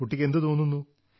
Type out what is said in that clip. കുട്ടിക്ക് എന്തു തോന്നുന്നു